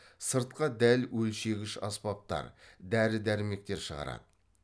сыртқа дәл өлшегіш аспаптар дәрі дәрмектер шығарады